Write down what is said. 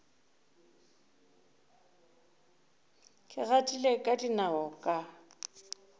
ke gatile ka dinao ka